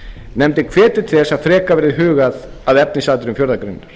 nefndin hvetur til þess að frekar verði hugað að efnisatriðum fjórðu grein